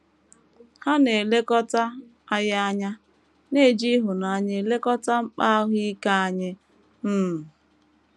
Ha na - elekọta anyị anya, na - eji ịhụnanya elekọta mkpa ahụ ike anyị. um